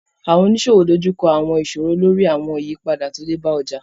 Àwọn oníṣòwò dojú kọ àwọn ìṣòro lórí àwọn ìyípadà tó dé bá ọjà